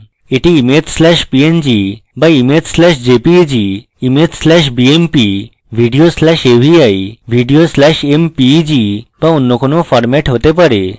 উদাহরণস্বরূপএটি image slash png be image slash jpeg image slash bmp video slash avi এবং video slash mpeg be অন্য কোনো format হতে পারে